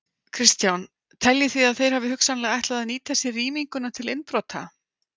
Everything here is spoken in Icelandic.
Kristján: Teljið þið að þeir hafi hugsanlega ætlað að nýta sér rýminguna til innbrota?